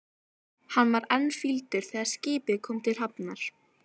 Hann var enn fýldur þegar skipið kom til hafnar.